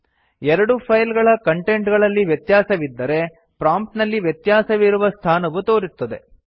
ಎರಡು ಫೈಲ್ ಗಳ ಕಂಟೆಂಟ್ ಗಳಲ್ಲಿ ವ್ಯತ್ಯಾಸವಿದ್ದರೆ ಪ್ರಾಂಪ್ಟ್ ನಲ್ಲಿ ವ್ಯತ್ಯಾಸವಿರುವ ಸ್ಥಾನವು ತೋರುತ್ತದೆ